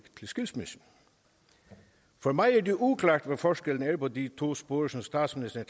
til skilsmisse for mig er det uklart hvad forskellen er på de to spor som statsministeren